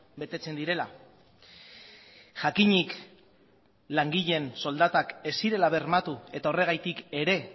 betetzen direla jakinik langileen soldatak ez zirela bermatu eta horregatik ere